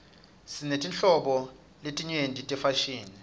sinetinhlobo letinyenti tefashini